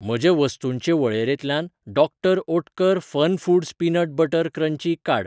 म्हजे वस्तूंचे वळेरेंतल्यान doctor Oetker FunFoods peanut butter crunchy काड.